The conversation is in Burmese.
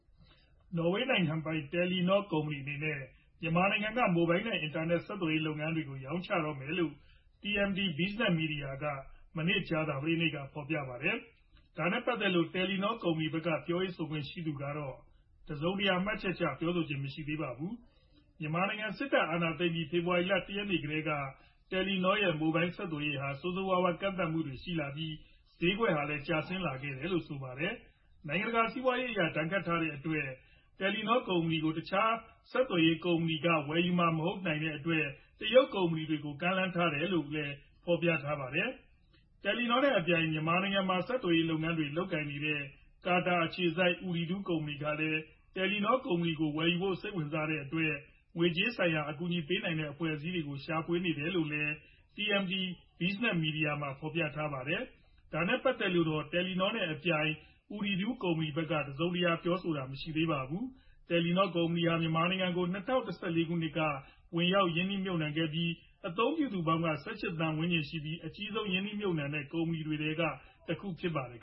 နော်ဝေးနိုင်ငံပိုင် တယ်လီနော်ကုမ္ပဏီအနေနဲ့ မြန်မာနိုင်ငံက မိုဘိုင်း နဲ့ အင်တာနက် ဆက်သွယ်ရေး လုပ်ငန်းတွေကို ရောင်းချတော့မယ်လို့ TMT Business မီဒီယာက မနေ့ ကြာသပတေးနေ့ ဖော်ပြ ထားပါတယ်။ ဒါနဲ့ပတ်သက်လို့တော့ တယ်လီနော့ ကုမ္ပဏီဖက်က ပြောရေးဆိုခွင့်ရှိသူကတော့ တစုံတရာ မှတ်ချက် ပြောဆိုခြင်းမရှိသေးပါဘူး။ မြန်မာနိုင်ငံ စစ်တပ်က အာဏာသိမ်းပြီး ဖေဖော်ဝါရီလ ၁ ရက်နေ့ကတည်းက တယ်လီနော့ ရဲ့ မိုဘိုင်းဆက်သွယ်ရေးဟာ ဆိုးဆိုးဝါးဝါး ကန့်သတ်မှုတွေရှိ လာပြီး ဈေးကွက်ဟာလည်းကျဆင်းလာခဲ့တယ်လို့ဆိုပါတယ်။ နိုင်ငံတကာက စီးပွားရေးအရ ဒဏ်ခတ်ထားတဲ့အတွက် တယ်လီနော့ကုမ္ပဏီကို တခြားဆက်သွယ်ရေးကုမ္ပဏီတွေက ဝယ်ယူမှာ မဟုတ်တဲ့အတွက် တရုတ်ကုမ္ပဏီတွေကို ကမ်းလှမ်းထားတယ်လို့လည်း ဖော်ပြထားပါတယ်။ တယ်လီနောနဲ့အပြိုင် မြန်မာနိုင်ငံမှာ ဆက်သွယ်ရေးလုပ်ငန်းတွေလုပ်ကိုင်နေတဲ့ ကာတာနိုင်ငံ အခြေစိုက် Ooredoo ကုမ္ပဏီကလည်း တယ်လီနော့ကို ဝယ်ယူဖို့ စိတ်ဝင်စားတဲ့အတွက် ငွေကြေးဆိုင်ရာ အကူညီပေးနိုင်တဲ့ အဖွဲ့အစည်းတွေကို ရှာဖွေနေတယ်လို့လည်း TMT Business မီဒီယာမှာ ဖော်ပြထားပါတယ်။ ဒါနဲ့ပတ်သက်လို့တော့ တယ်လီနော နဲ့ အပြိုင် Ooredoo ကုမ္ပဏီဖက်က တစုံတရာပြောကြားတာ မရှိသေးပါဘူး။ တယ်လီနောကုမ္ပဏီဟာ မြန်မာနိုင်ငံကို ၂၀၁၄ ခုနှစ်က ဝင်ရောက် ရင်းနှီးမြုတ်နှံခဲ့ပြီး အသုံးပြု သူပေါင်းက ၁၈ သန်းဝန်းကျင်ရှိပြီး အကြီးဆုံးရင်းနှီးမြုတ်နှံတဲ့ နိုင်ငံခြား ကုမ္ပဏီတွေထဲက တခုဖြစ်ပါတယ်